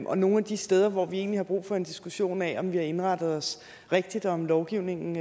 og nogle af de steder hvor vi egentlig har brug for en diskussion af om vi har indrettet os rigtigt og om lovgivningen